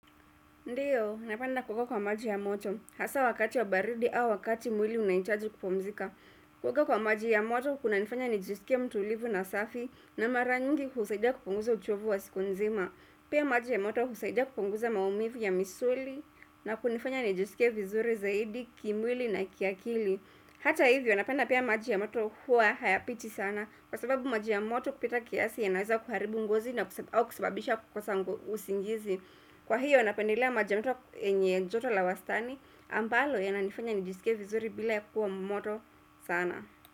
Ndiyo, napenda kukua kwa maji ya moto, hasa wakati wa baridi au wakati mwili unaitaji kupumzika. Kuoga kwa maji ya moto, kuna nifanya nijisikia mtuulivu na safi na mara nyingi kusaidia kuponguza uchovu wa siku nzima. Pia maji ya moto, husaidia kupunguza maumivu ya misuli na kunifanya nijisikie vizuri zaidi, kimwili na kiakili. Hata hivyo, napenda pia maji ya moto huwa hayapiti sana kwa sababu maji ya moto kupita kiasi yanaeza kuharibu ngozi na kusababisha kukosangu usingizi. Kwa hiyo anapendelea majamoto yenye njoto la wastani ambalo ya nanifanya nijisike vizuri bila ya kuwa mmoto sana.